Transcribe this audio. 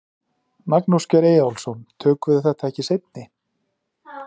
Magnús Geir Eyjólfsson: Tökum við þetta ekki í seinni?